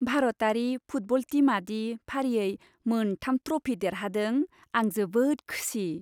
भारतारि फुटबल टीमा दि फारियै मोन थाम ट्रफी देरहादों, आं जोबोद खुसि!